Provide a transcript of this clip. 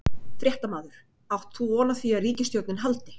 Fréttamaður: Átt þú von á því að ríkisstjórnin haldi?